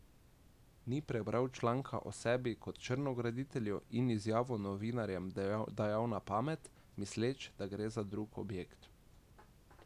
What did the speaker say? Ni prebral članka o sebi kot črnograditelju in izjavo novinarjem dajal na pamet, misleč, da gre za drug objekt.